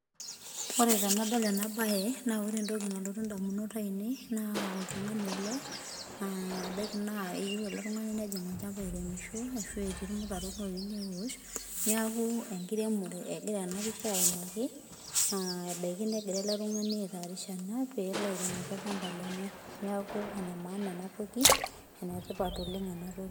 Ore tenadol enabae, na ore entoki nalotu indamunot ainei naa oltung'ani ele, ebaiki naa eyieu ele tung'ani nejing olchamba airemisho ashu etii irmutaron oyieu newosh, neeku enkiremore egira enapisha aimaki, naa ebaiki negira ele tung'ani aitaarisha pee ele airemoki olchamba lenye. Neeku enemaana enatoki, enetipat oleng enatoki.